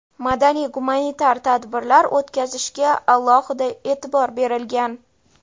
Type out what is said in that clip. madaniy-gumanitar tadbirlar o‘tkazishga alohida e’tibor berilgan.